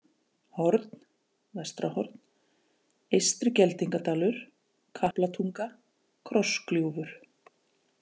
Horn (Vestrahorn), Eystri-Geldingadalur, Kaplatunga, Krossgljúfur